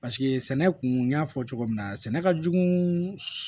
Paseke sɛnɛ kun y'a fɔ cogo min na sɛnɛ ka jugu